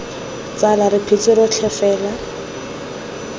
tsala re phetse rotlhe fela